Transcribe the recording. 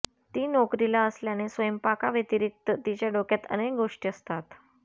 ती नोकरीला असल्याने स्वयंपाकाव्यतिरिक्त तिच्या डोक्यात अनेक गोष्टी असतात